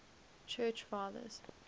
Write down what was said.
church fathers